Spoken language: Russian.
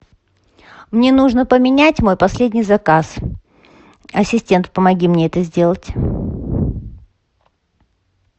мне нужно поменять мой последний заказ ассистент помоги мне это сделать